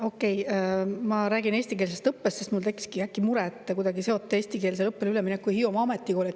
Okei, ma räägin eestikeelsest õppest, sest mul tekkiski äkki mure, et te kuidagi seote eestikeelsele õppele ülemineku Hiiumaa Ametikooliga.